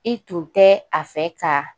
I tun tɛ a fɛ ka